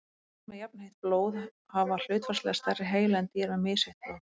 dýr með jafnheitt blóð hafa hlutfallslega stærri heila en dýr með misheitt blóð